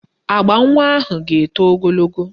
Agba nwa ahụ ga-eto ogologo